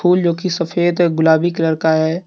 फूल जोकि सफेद गुलाबी कलर का है।